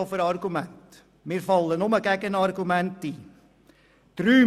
Mir fallen nur Gegenargumente ein.